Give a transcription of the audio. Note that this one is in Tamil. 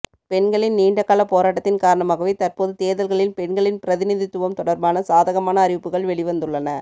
பெண்களின் நீண்டகால போராட்டத்தின் காரணமாக தற்போது தேர்தல்களில் பெண்களின் பிரதிநிதித்துவம் தொடர்பான சாதகமான அறிவுப்புக்கள் வெளிவந்துள்ளன